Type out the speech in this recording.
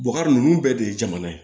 Bubakari ninnu bɛɛ de ye jamana ye